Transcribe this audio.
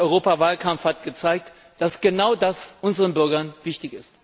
Der Europawahlkampf hat gezeigt, dass genau das unseren Bürgern wichtig ist.